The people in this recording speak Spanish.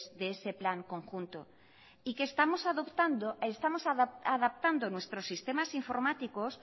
de ese plan conjunto y que estamos adaptando nuestros sistemas informáticos